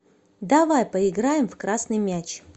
давай поиграем в красный мяч